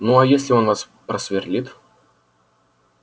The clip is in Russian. ну а если он вас просверлит